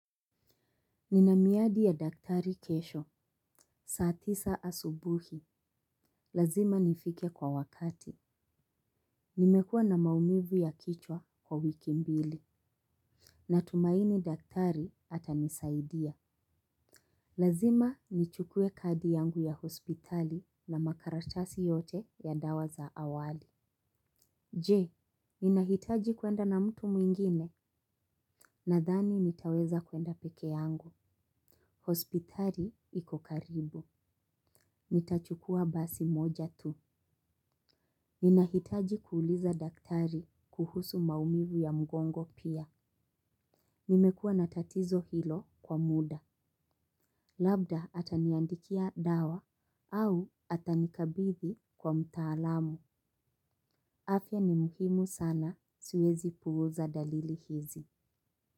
Nina miadi ya daktari kesho, saa tisa asubuhi. Lazima nifike kwa wakati. Nimekuwa na maumivu ya kichwa kwa wiki mbili. Natumaini daktari atanisaidia. Lazima nichukue kadi yangu ya hospitali na makaratasi yote ya dawa za awali. Je, ninahitaji kwenda na mtu mwingine. Nadhani nitaweza kwenda peke yangu. Hospitali iko karibu. Nitachukua basi moja tu. Ninahitaji kuuliza daktari kuhusu maumivu ya mgongo pia. Nimekuwa na tatizo hilo kwa muda. Labda ataniandikia dawa au atanikabidhi kwa mtaalamu. Afya ni muhimu sana siwezi puuza dalili hizi.